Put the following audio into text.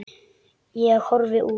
Ég horfi út.